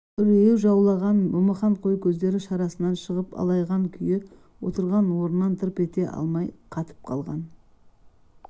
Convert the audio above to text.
үрейі жаулаған момақан қой көздері шарасынан шығып алайған күй отырған орнында тырп ете алмай қатып қалған